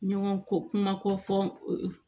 Ɲɔgɔn ko kuma ko fɔ